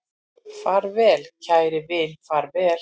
Far vel kæri vin, far vel